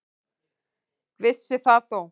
Vissi það þó.